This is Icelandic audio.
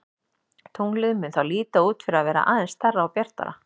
Tunglið mun þá líta út fyrir að vera aðeins stærra og bjartara.